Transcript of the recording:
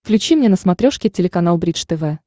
включи мне на смотрешке телеканал бридж тв